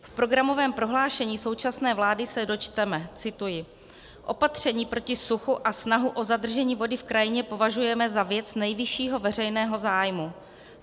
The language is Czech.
V programovém prohlášení současné vlády se dočteme - cituji: Opatření proti suchu a snahu o zadržení vody v krajině považujeme za věc nejvyššího veřejného zájmu.